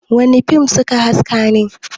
wane fim suka haske ne!?